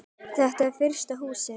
Þetta var fyrsta Húsið.